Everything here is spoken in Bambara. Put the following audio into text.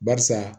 Barisa